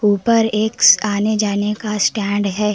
ऊपर एक आने जाने का स्टैंड है।